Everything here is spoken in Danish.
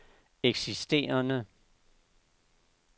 eksisterende